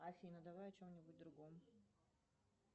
афина давай о чем нибудь другом